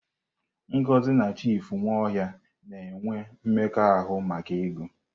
Ngozi na Chief Nwaohia na-ewe mmekọahụ maka ego.